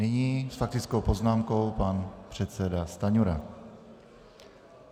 Nyní s faktickou poznámkou pan předseda Stanjura.